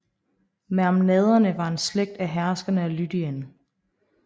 Mermnaderne var en slægt af herskere af Lydien